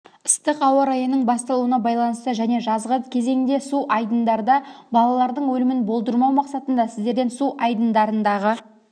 ыстық ауа-райының басталуына байланысты және жазғы кезеңде су айдындарда балалардың өлімін болдырмау мақсатында сіздерден су айдындарындағы